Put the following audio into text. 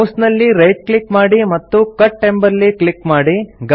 mouse ನಲ್ಲಿ right click ಮಾಡಿ ಮತ್ತು ಕಟ್ ಎಂಬಲ್ಲಿ ಕ್ಲಿಕ್ ಮಾಡಿ